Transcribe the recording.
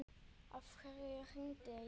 Af hverju hringdi ég ekki?